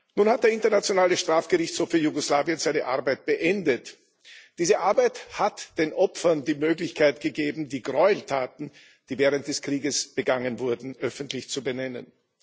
Nun hat der Internationale Strafgerichtshof für Jugoslawien seine Arbeit beendet. Diese Arbeit hat den Opfern die Möglichkeit gegeben, die Gräueltaten, die während des Krieges begangen wurden, öffentlich zu benennen.